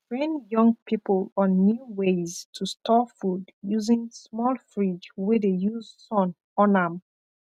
we train young people on new ways to store food using small fridge wey de use sun on am